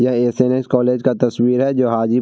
यह SNS. College का तस्वीर है जो हाजीपुर --